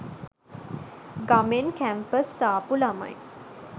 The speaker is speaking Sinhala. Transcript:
ගමෙන් කැම්පස් ආපු ළමයි.